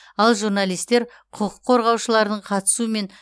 ал журналистер құқық қорғаушылардың қатысуымен